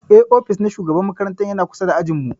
Eh, ofis na shugaban makaranta ya na kusa da ajin mu.